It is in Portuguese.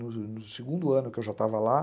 No segundo ano que eu já estava lá.